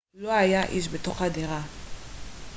לא היה איש בתוך הדירה